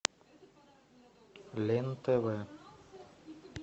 лен тв